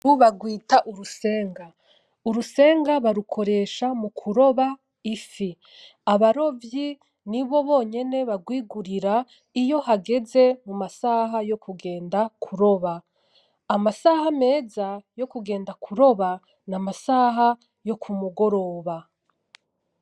Nkuru barwita urusenga. Urusenga barukoresha mukuroba ifi. Abarovyi nibo bonyene barwigurira iyo hageze mumasaha yokugenda kuroba. Amasaha meza yokugenda kuroba, n'amasaha yo kumugoroba.